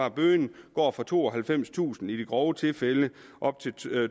at bøden går fra tooghalvfemstusind kroner i de grove tilfælde op til